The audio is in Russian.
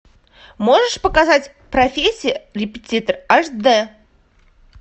можешь показать прфессия репетитор аш д